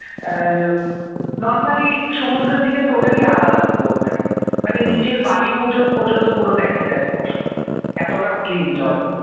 normally সমুদ্রের থেকে totally আলাদা পুরো ওখানে মানে নিচের বালি পুর পর্যন্ত পুরো দেখা যায় স্পষ্ট এতটা ক্লিন জল